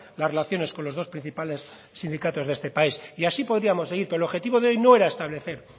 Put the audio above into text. las relaciones con los dos principales sindicatos de este país y así podríamos seguir pero el objetivo de hoy no era establecer